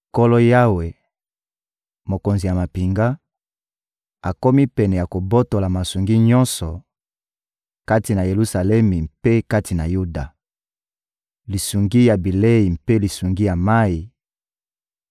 Nkolo Yawe, Mokonzi ya mampinga, akomi pene ya kobotola masungi nyonso, kati na Yelusalemi mpe kati na Yuda: lisungi ya bilei mpe lisungi ya mayi;